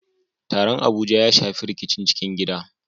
Taron Abuja ya shafi rikicin cikin gida